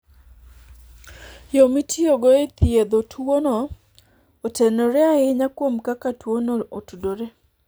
Yo mitiyogo e thiedho tuwono otenore ahinya kuom kaka tuwono otudore.